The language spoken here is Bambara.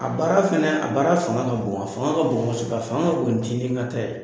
A baara fɛnɛ a baara fanga ka bon, a fanga ka bon kosɛbɛ, a fanga ka bon ni ta ye.